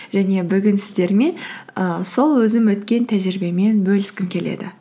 және бүгін сіздермен і сол өзім өткен тәжірибемен бөліскім келеді